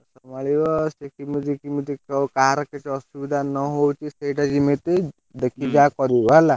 ଯଉ କାହାର ତାକୁ କିଛି ଅସୁବିଧା ନ ହଉ, ସେଇଟା ଯେମିତି ଦେଖିକି ଯାହା କରିବ ହେଲା।